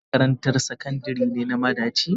Kina makarantar sakandire na madaci?